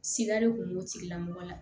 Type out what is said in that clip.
Siga de kun b'o tigila mɔgɔ la